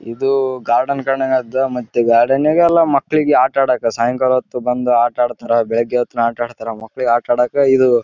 ಇಲ್ಲಿ ಹುಡುಗಿಯ ಮೇಲೆ ಚಿಕ್ಕ ಚಿಕ್ಕ ಗಿಡಗಳನ್ನು ನೋಡಲು ಅದಲ್ಲಿ ಸಿಗುತ್ತದೆ ಇಲ್ಲಿ ಮಕ್ಕಳು ಕುಳಿತುಕೊಂಡಿದ್ದಾರೆ.